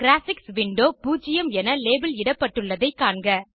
graphics window 0 என label இடப்பட்டுள்ளதை காண்க